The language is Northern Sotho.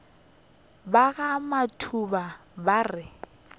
ba ga matuba ba re